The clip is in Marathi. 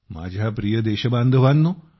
माझ्या प्रिय देशबांधवांनो